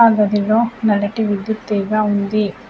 ఆ గదిలో నల్లటి విద్యుత్ తీగా ఉంది.